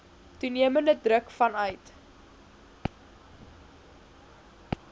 toenemende druk vanuit